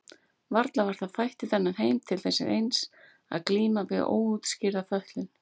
Varla var það fætt í þennan heim til þess eins að glíma við óútskýrða fötlun?